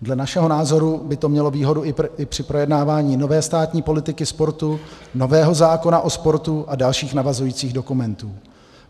Dle našeho názoru by to mělo výhodu i při projednávání nové státní politiky sportu, nového zákona o sportu a dalších navazujících dokumentů.